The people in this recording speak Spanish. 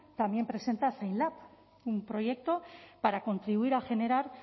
también presenta zainlab un proyecto para contribuir a generar